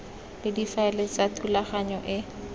le difaele tsa thulaganyo e